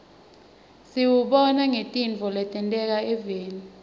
siwubona ngetintfo letenteka evfni